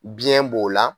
Biyɛn b'o la